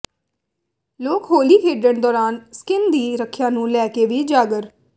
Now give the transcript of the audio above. ਲੋਕ ਹੋਲੀ ਖੇਡਣ ਦੌਰਾਨ ਸਕਿੱਨ ਦੀ ਰੱਖਿਆ ਨੂੰ ਲੈ ਕੇ ਵੀ ਜਾਗਰ